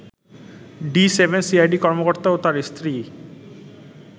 D-7 CID কর্মকর্তা ও তার স্ত্রী